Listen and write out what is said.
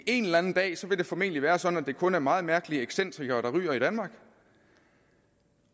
en eller anden dag vil det formentlig være sådan at det kun er meget mærkelige excentrikere der ryger i danmark